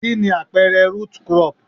Kí ni àpẹẹrẹ root crop?